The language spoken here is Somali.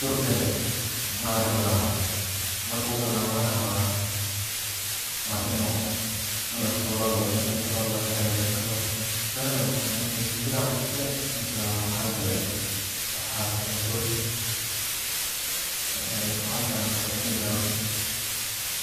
durgale ama halaawe markuu halaawe neh waa in latuuro lamacuni karo lama hagaajin karo dalaga mise shinbir aa cunte mise waxaa gale dur, waxaa fican markas ini dawa lasiiyo.